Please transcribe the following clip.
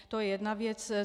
To je jedna věc.